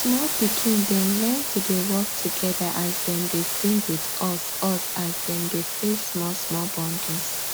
small pikin dem learn to dey work together as dem dey sing with us us as dem dey fetch small small bundles